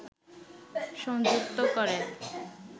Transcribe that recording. সংযুক্ত করে